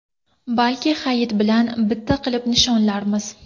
Balki Hayit bilan bitta qilib nishonlarmiz.